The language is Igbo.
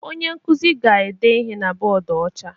Onye nkuzi ga-ede ihe na bọọdụ ọcha